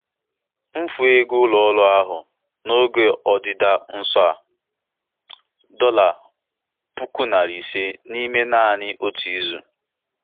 Mmelite sọftụwia na-adakọkarị Mmelite sọftụwia na-adakọkarị na mbelata nyiwe azụmaahịa nwa oge, na-ebute mfu maka ndị ọchụnta ego.